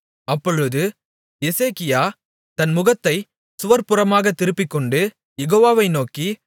அப்பொழுது எசேக்கியா தன் முகத்தைச் சுவர்ப்புறமாகத் திருப்பிக்கொண்டு யெகோவவை நோக்கி